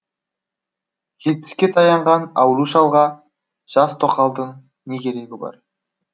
жетпіске таянған ауру шалға жас тоқалдың не керегі бар